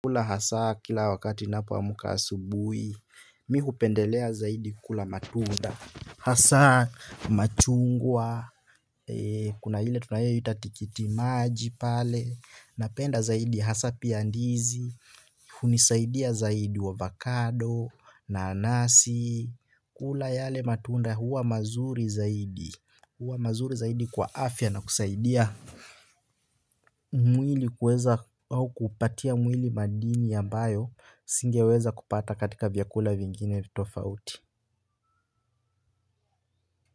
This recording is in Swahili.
Kula hasa kila wakati ninapo amuka asubuhi, mi hupendelea zaidi kula matunda, hasa machungwa, kuna ile tunayoiita tikiti maji pale, napenda zaidi hasa pia ndizi, hunisaidia zaidi avokado, nanasi, kula yale matunda huwa mazuri zaidi, huwa mazuri zaidi kwa afya na kusaidia. Mwili kuweza au kupatia mwili madini ambayo singeweza kupata katika vyakula vingine tofauti.